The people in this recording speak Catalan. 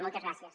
moltes gràcies